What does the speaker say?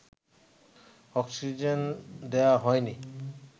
oxygen দেয়া হয়নি